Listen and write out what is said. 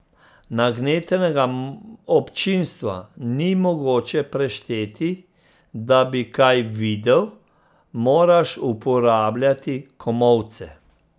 Nagnetenega občinstva ni mogoče prešteti, da bi kaj videl, moraš uporabljati komolce.